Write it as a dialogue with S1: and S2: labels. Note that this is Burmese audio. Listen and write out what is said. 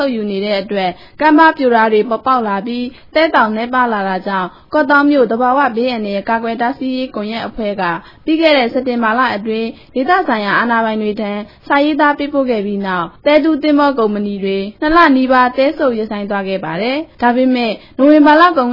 S1: ုပ်ယူခဲ့တဲ့ အတွက် ကော့သောင်းမြို့နယ်တဝိုက် ကမ်းပါးတွေပြို သဲသောင်တွေ နည်းပါးလာတာကြောင့် ကော့သောင်းမြို့ သဘာဝဘေးအန္တရာယ် ကာကွယ်တားဆီးရေး ကွန်ရက်အဖွဲ့က ပြီးခဲ့တဲ့ စက်တင်ဘာလအတွင်း ဒေသဆိုင်ရာ အာဏာပိုင်တွေထံ စာရေးသား ပေးပို့ခဲ့ပြီးတဲ့နောက် သဲတူးသင်္ဘော ကုမ္ပဏီတွေ ၂ လနီးပါး သဲစုပ် ရပ်ဆိုင်းသွားခဲ့ပါတယ်။ ဒါပေမယ့် နိုဝင်ဘာ လကုန်